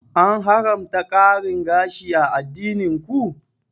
An haramta ƙarin gashi a addinin ku?